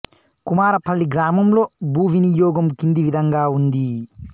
కుమారపల్లి గ్రా లో భూ వినియోగం కింది విధంగా ఉంది